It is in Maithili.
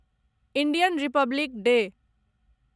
Indian Republic day